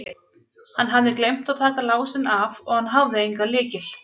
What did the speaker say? Hann hafði gleymt að taka lásinn af og hann hafði engan lykil.